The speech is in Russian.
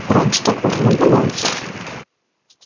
раньше такого не наблюдалось